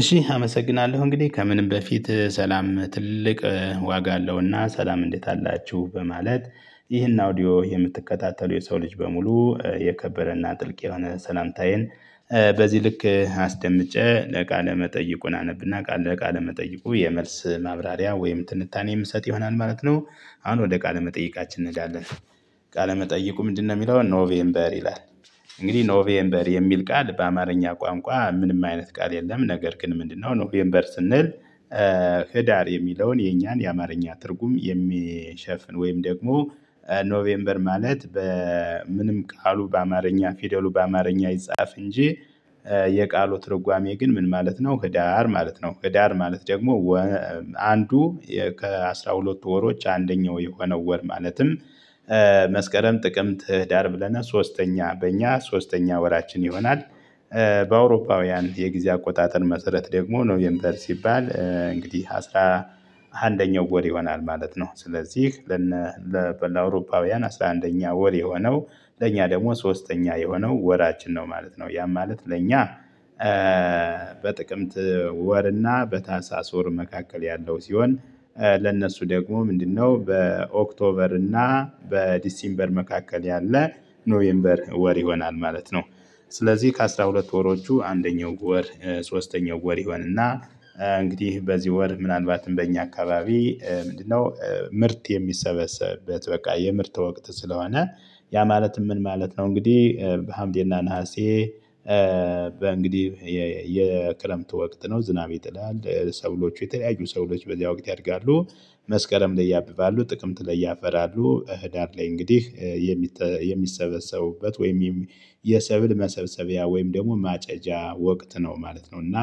እሺ አመሰግናለሁ እንግዲህ ከምንም በፊት ሰላም ትልቅ ዋጋ አለውና ሰላም እንዴት አላችሁ በማለት ይህን አውዲዮ የምትከታተሉ የሰው ልጅ በሙሉ የከበረና ጥልቅ የሆነ ሰላምታዬን ልክ አስደምጬ ለቃለ መጠይቁን አነብና ለቃለ መጠይቁ የመልስ ማብራሪያ ወይም ትንታኔ የምሰጥ ይሆናል ማለት ነው። አሁን ወደ ቃለ መጠይቃችን እንሄዳለን። ቃለ መጠይቁ ምንድነው የሚለውን ኖቬምበር ይላል። እንግዲህ ኖቬምበር የሚል ቃል በአማርኛ ቋንቋ ምንም አይነት ቃል የለም። ነገር ግን ምንድነው ኖቬምበር ስንል? ህዳር የሚለውን የኛን የአማርኛ ትርጉም የሚሸፍን ወይም ደግሞ ኖቬምበር ማለት በምንም ቃሉ በአማርኛ ፊደሉ በአማርኛ ይጻፍ እንጂ የቃሉ ትርጓሜ ግን ምን ማለት ነው ህዳር ማለት ነው። ህዳር ማለት ደግሞ አንዱ ከአስራ ሁለቱ ወሮች አንደኛው የሆነው ወር ማለትም መስከረም ጥቅምት ህዳር ብለናል ሶስተኛ በእኛ ሶስተኛ ወራችን ይሆናል። በአውሮፓውያን የጊዜ አቆጣጠር መሰረት ደግሞ ኖቬምበር ሲባል እንግዲህ አስራ አንደኛው ወር ይሆናል ማለት ነው። ስለዚህ ለአውሮፓውያን አስራ አንደኛ ወር የሆነው ለእኛ ደግሞ ሶስተኛ የሆነው ወራችን ነው ማለት ነው። ያም ማለት ለእኛ በጥቅምት ወርና በታህሳስ ወር መካከል ያለው ሲሆን ለእነሱ ደግሞ ምንድነው በኦክቶበር እና በዲሲምበር መካከል ያለ ኖቬምበር ወር ይሆናል ማለት ነው። ስለዚህ ከአስራ ሁለቱ ወሮቹ አንደኛው ወር ሶስተኛው ወር ይሆንና እንግዲህ በዚህ ወር ምናልባትም በእኛ አካባቢ ምንድነው ምርት የሚሰበሰብበት በቃ የምርት ወቅት ስለሆነ። ያ ማለት ምን ማለት ነው? እንግዲህ በሀምሌና ነሀሴ እንግዲህ የክረምት ወቅት ነው ዝናብ ይጥላል ሰብሎቹ የተለያዩ ሰብሎች በዚያ ወቅት ያድጋሉ። መስከረም ላይ ያብባሉ ጥቅምት ላይ ያፈራሉ ህዳር ላይ እንግዲህ የሚሰበሰቡበት ወይም የሰብል መሰብሰቢያ ወይም ደግሞ ማጨጃ ወቅት ነው ማለት ነው። እና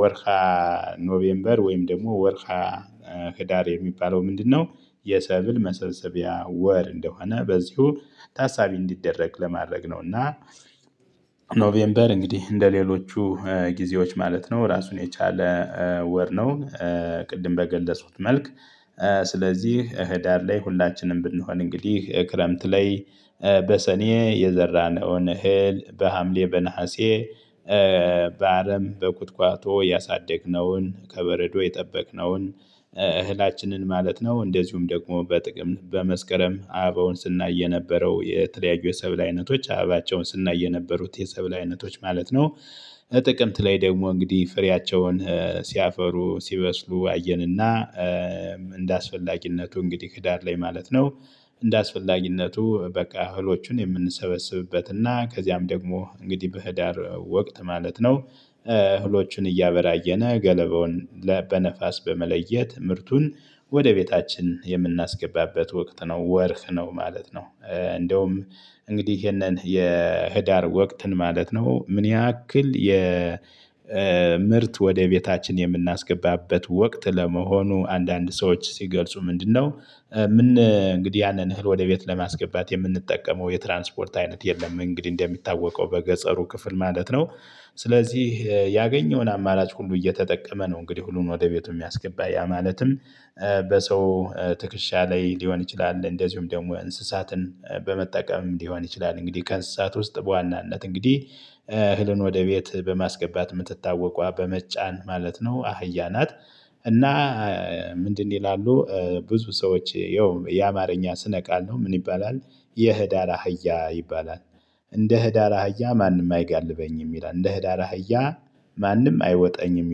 ወርሃ ኖቬምበር ወይም ደግሞ ወርሃ ህዳር የሚባለው ምንድነው? የሰብል መሰልሰቢያ ወር እንደሆነ በዚሁ ታሳቢ እንዲደረግ ለማድረግ ነውና። እንግዲህ እንደሌሎቹ ጊዜዎች ማለት ነው ራሱን የቻለ ወር ነው። ቅድም በገለጹት መልክ ስለዚህ ህዳር ላይ ሁላችንም ብንሆን እንግዲህ ክረምት ላይ በሰኔ የዘራነውን እህል በሀምሌ በነሀሴ በአረም በቁጥቋጦ ያሳደግነውን ከበረዶ የጠበቅነውን። እህላችንን ማለት ነው እንደዚሁም ደግሞ በጥቅምት በመስከረም አበባውን ስናይ የነበረው የተለያዩ የሰብል አይነቶች አበባቸውን ስናይ የነበሩት የሰብል ማለት ነው። ጥቅምት ላይ ደግሞ እንግዲህ ፍሬያቸውን ሲያፈሩ ሲበስሉ አየንና እንደ አስፈላጊነቱ እንግዲህ ህዳር ላይ ማለት ነው። እንደ አስፈላጊነቱ በቃ እህሎቹን የምንሰበስብበት እና ከዚያም ደግሞ እንግዲህ በህዳር ወቅት ማለት ነው። እህሎችን እያበራየነ ገለበውን በነፋስ በመለየት ምርቱን ወደ ቤታችን የምናስገባበት ወቅት ነው ወርህ ነው ማለት ነው። እንደውም እንግዲህ ይሄንን የህዳር ወቅትን ማለት ነው ምን ያክል ምርት ወደ ቤታችን የምናስገባበት ወቅት ለመሆኑ አንዳንድ ሰዎች ሲገልጹ ምንድነው? እንግዲህ ያንን እህል ወደ ቤት ለማስገባት የምንጠቀመው የትራንስፖርት አይነት የለም እንግዲህ እንደሚታወቀው በገጠሩ ክፍል ማለት ነው። ስለዚህ ያገኘውን አማራጭ ሁሉ እየተጠቀመ ነው እንግዲህ ሁሉንም ወደ ቤቱ የሚያስገባ ያ ማለትም። በሰው ትክሻ ላይ ሊሆን ይችላል እንደዚሁም ደግሞ እንስሳትን በመጠቀም ሊሆን ይችላል እንግዲህ ከእንስሳት ውስጥ በዋናነት እንግዲህ እህልን ወደ ቤት በማስገባት የምትታወቋ በመጫን ማለት ነው አህያ ናት። እና ምንድነው ይላሉ ብዙ ሰዎች ያው የአማርኛ ስነቃል ነው ምን ይባላል? የህዳር አህያ ይባላል። እንደ ህዳር አህያ ማንም አይጋልበኝም ይላል እንደ ህዳር አህያ ማንም አይወጣኝም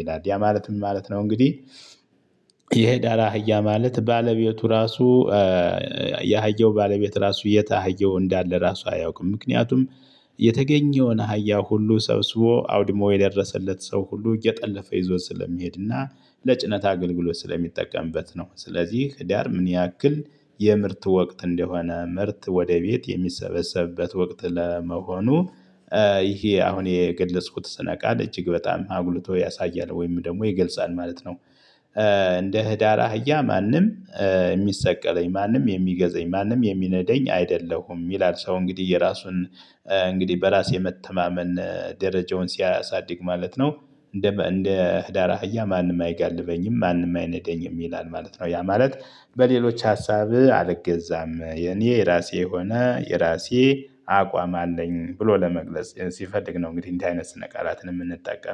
ይላል ያ ማለት ምን ማለት ነው? እንግዲህ የህዳር አህያ ማለት ባለቤቱ ራሱ የአህየው ባለቤት ራሱ የት አህያው እንዳለ ራሱ አያውቅም። ምክንያቱም የተገኘውን አህያ ሁሉ ሰብስቦ አውድሞ የደረሰለት ሰው ሁሉ እየጠለፈ ይዞ ስለሚሄድና ለጭነት አገልግሎት ስለሚጠቀምበት ነው። ስለዚህ ህዳር ምን ያክል የምርት ወቅት እንደሆነ ምርት ወደ ቤት የሚሰበሰብበት ወቅት ለመሆኑ። ይሄ አሁን የግል ስነ ቃል እጅግ በጣም አጉልቶ ያሳያል ወይም ደግሞ ይገልጻል ማለት ነው። እንደ ህዳር አህያ ማንም የሚሰቀለኝ ማንም የሚገዛኝ ማንም የሚነደዳኝ አይደለሁም ይላል ሰው እንግዲህ የራሱን እንግዲህ በራስ መተማመን ደረጃውን ሲያሳድግ ማለት ነው። እንደ እንደ ህዳር አህያ ማንም አይጋልበኝም ማንም አይነዳኝም ይላል ማለት ነው። ያ ማለት በሌሎች ሀሳብ አልገዛም የኔ የራሴ ሆነ የራሴ አቋም አለኝ ብሎ ለመግለጽ ሲፈልግ ነው። እንግዲህ እንዲህ አይነት ስነ ቃላትን የምንጠቀመው